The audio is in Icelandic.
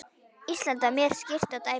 Ísland var mjög skýrt dæmi.